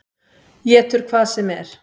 Étur hvað sem er.